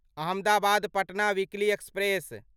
Ahmedabad Patna weekly express